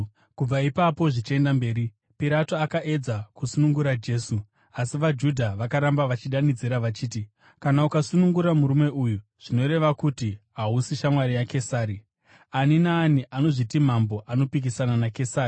Kubva ipapo zvichienda mberi, Pirato akaedza kusunungura Jesu, asi vaJudha vakaramba vachidanidzira vachiti, “Kana ukasunungura murume uyu, zvoreva kuti hausi shamwari yaKesari. Ani naani anozviti mambo anopikisana naKesari.”